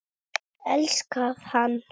Elskað hann